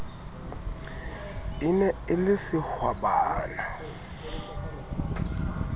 e ne e le sehwabana